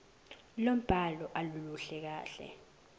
lombhalo aluluhle kahle